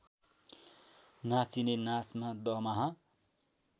नाचिने नाचमा दमाहा